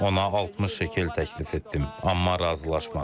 Ona 60 şekel təklif etdim, amma razılaşmadı.